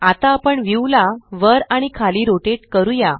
आता आपण व्यू ला वर आणि खाली रोटेट करूया